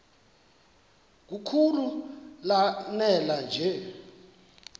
kakhulu lanela nje